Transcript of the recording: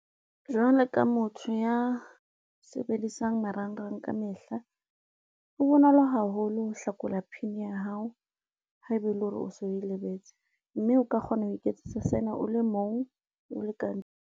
Jwalo ka motho ya sebedisang marangrang kamehla, ho bonolo haholo ho hlakola PIN ya hao ha ebe ele hore o so o lebetse, mme o ka kgona ho iketsetsa sena o le mong, o le ka ntle.